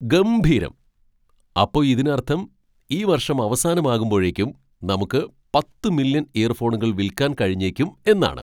ഗംഭീരം! അപ്പൊ ഇതിനർത്ഥം ഈ വർഷം അവസാനമാകുമ്പോഴേക്കും നമുക്ക് പത്ത് മില്യൺ ഇയർഫോണുകൾ വിൽക്കാൻ കഴിഞ്ഞേക്കും എന്നാണ് !